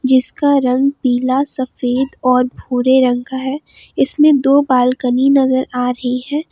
जिसका रंग नीला सफेद और भूरे रंग का है इसमें दो बालकनी नजर आ रही है।